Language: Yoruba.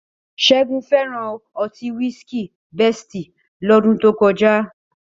Ṣẹ́gun fẹ́ràn ọtí wísíkìi Bẹ́sìtì lọ́dún tó kọjá